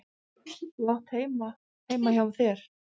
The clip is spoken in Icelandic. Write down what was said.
Þú átt heima heima hjá þér!